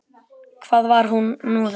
Hvað var nú þetta?